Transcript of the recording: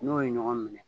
N'o ye ɲɔgɔn minɛ